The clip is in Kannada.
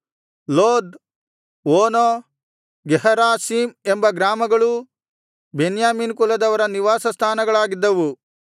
ಲೋದ್ ಓನೋ ಗೇಹರಾಷೀಮ್ ಎಂಬ ಗ್ರಾಮಗಳೂ ಬೆನ್ಯಾಮೀನ್ ಕುಲದವರ ನಿವಾಸ ಸ್ಥಾನಗಳಾಗಿದ್ದವು